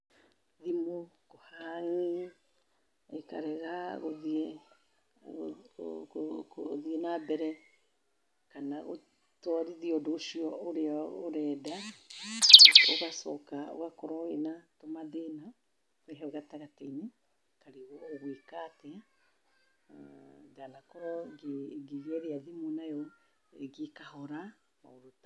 Thimu kũhang'i ĩkarega gũthiĩ na mbere kana gũtwarithia ũndũ ũcio ũrenda. Ũgacoka ũgakorwo wĩna tũmathĩna hau gatagatĩ-inĩ ũkarigwo ũgwĩka atĩa. Ndanakorwo ngĩgeria thimũ nayo ĩkahora, maũndũ ta.